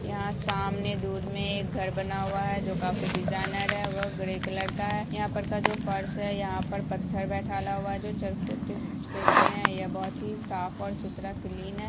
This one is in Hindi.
यहां सामने दूर में एक घर बना हुआ है जो काफी डिजाइनर है वह ग्रे कलर का है यहां पर का जो फर्श हैं यहां पर पत्थल चरखुट सेफ में है बहुत ही साफ और सुथरा क्लीन है।